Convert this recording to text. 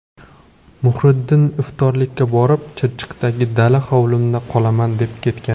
Muhriddin iftorlikka borib, ‘Chirchiqdagi dala hovlimda qolaman’ deb ketgan.